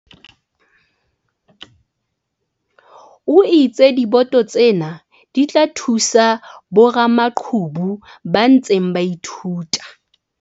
O itse diboto tsena di tla thusa boramaqhubu ba ntseng ba ithuta.